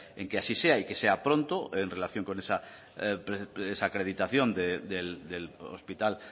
en que así sea y que sea pronto en relación con esa acreditación del hospital